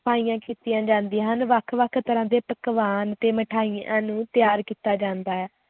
ਸਫਾਈਆਂ ਕੀਤੀਆਂ ਜਾਂਦੀਆਂ ਹਨ, ਵੱਖ-ਵੱਖ ਤਰ੍ਹਾਂ ਦੇ ਪਕਵਾਨ ਅਤੇ ਮਠਿਆਈਆਂ ਨੂੰ ਤਿਆਰ ਕੀਤੀ ਜਾਂਦਾ ਹੈ।